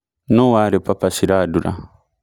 nũ warĩ papa Shirandula